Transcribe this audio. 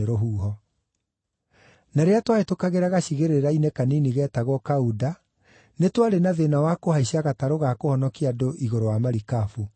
Na rĩrĩa twahĩtũkagĩra gacigĩrĩra-inĩ kanini geetagwo Kauda, nĩtwarĩ na thĩĩna wa kũhaicia gatarũ ga kũhonokia andũ igũrũ wa marikabu.